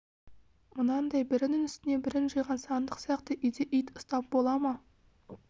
мынадай бірінің үстіне бірін жиған сандық сияқты үйде ит ұстап бола ма